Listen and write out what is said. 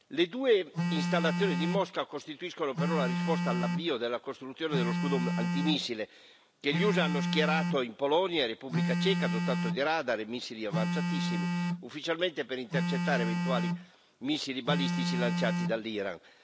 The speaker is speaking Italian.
Le due installazioni di Mosca costituiscono però la risposta all'avvio della costruzione dello scudo antimissile che gli USA hanno schierato in Polonia e Repubblica Ceca, dotato di radar e missili avanzatissimi, ufficialmente per intercettare eventuali missili balistici lanciati dall'Iran.